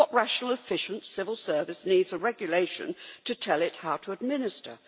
What rational, efficient civil service needs a regulation to tell it how to administer?